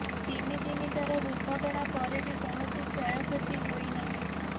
ତିନି ତିନି ଥର ଦୁର୍ଘଟଣା ପରେ ବି କୌଣସି କ୍ଷୟକ୍ଷତି ହୋଇନାହିଁ